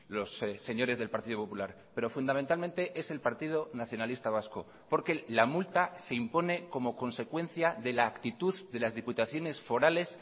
los señores del partido popular pero fundamentalmente es el partido nacionalista vasco porque la multa se impone como consecuencia de la actitud de las diputaciones forales